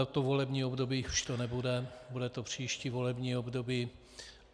Toto volební období už to nebude, bude to příští volební období.